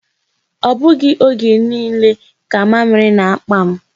Ọ bụghị oge niile ka mamịrị na-akpa m.